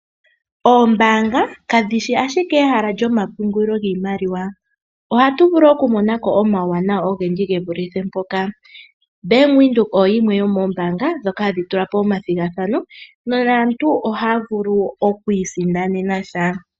Oombaanga kadhishi ike ehala lyomapungulilo giimaliwa, ohatu vulu okumona ko omauwanawa ogendji ge vulithe po mpoka. Bank Windhoek oyo yimwe yomombaanga dhoka hadhi tula po omathigathano nonaantu ohaya vulu oku isindanena sha.